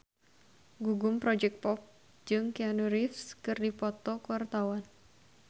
Gugum Project Pop jeung Keanu Reeves keur dipoto ku wartawan